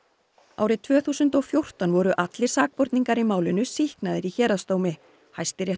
árið tvö þúsund og fjórtán voru allir sakborningar í málinu sýknaðir í héraðsdómi